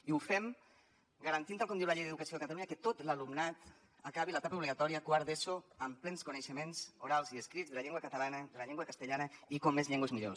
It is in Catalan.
i ho fem garantint tal com diu la llei d’educació de catalunya que tot l’alumnat acabi l’etapa obligatòria quart d’eso amb plens coneixements orals i escrits de la llengua catalana de la llengua castellana i com més llengües millor